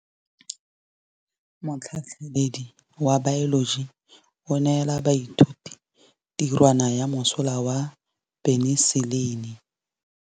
Motlhatlhaledi wa baeloji o neela baithuti tirwana ya mosola wa peniselene.